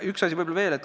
Üks asi veel.